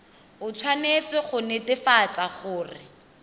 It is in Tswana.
o tshwanetse go netefatsa gore